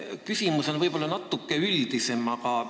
Küsimus on natuke üldisem.